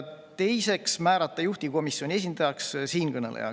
Teiseks otsustati määrata juhtivkomisjoni esindajaks siinkõneleja.